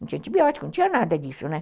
Não tinha antibiótico, não tinha nada disso, né?